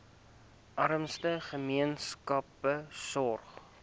armste gemeenskappe sorg